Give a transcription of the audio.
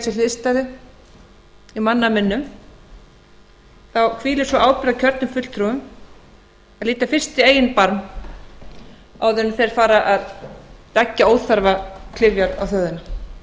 sér hliðstæðu í manna minnum þá hvílir sú ábyrgð á kjörnum fulltrúum að líta fyrst í eigin barm áður en þeir fara að leggja óþarfa klyfjar á þjóðina